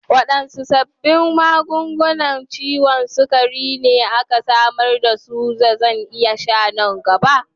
Waɗanne sabbin magungunan ciwon sukari ne ake samar da su da zan iya sha nan gaba?